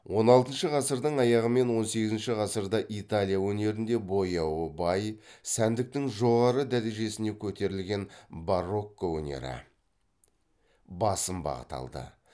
он алтыншы ғасырдың аяғы мен он сегізінші ғасырда италия өнерінде бояуы бай сәндіктің жоғары дәрежесіне көтерілген барокко өнері басым бағыт болды